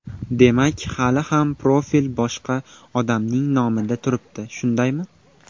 Demak, hali ham profil boshqa odamning nomida turibdi, shundaymi?